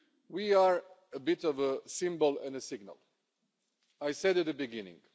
We are a bit of a symbol and a signal, as I said at the beginning.